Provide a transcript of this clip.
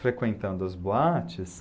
Frequentando as boates.